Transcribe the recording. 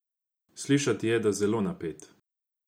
Slišati je, da zelo napet.